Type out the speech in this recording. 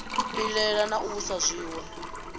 pilela na u vhusa zwiwe